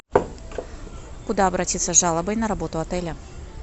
куда обратиться с жалобой на работу отеля